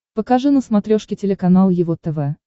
покажи на смотрешке телеканал его тв